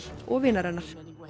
og vinar hennar